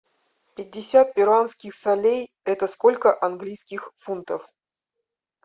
пятьдесят перуанских солей это сколько английских фунтов